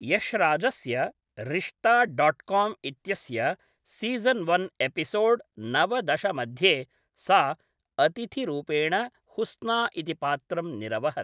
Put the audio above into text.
यश्राजस्य, Rishta dot com इत्यस्य season one episode नवदश मध्ये सा अतिथिरूपेण हुस्ना इति पात्रं निरवहत्।